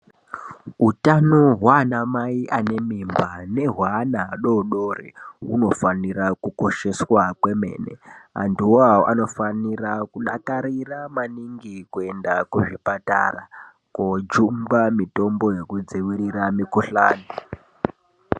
Hutano hwaana mai ane mimba nehwevana adodori hunofanira kukosheswa kwemene antuwo awo anofanira kudakarira maningi kuenda kuzvipatara kojungwa mitombo yekudzivirira mikuhlani.